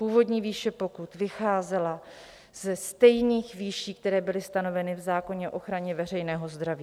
Původní výše pokut vycházela ze stejných výší, které byly stanoveny v zákoně o ochraně veřejného zdraví.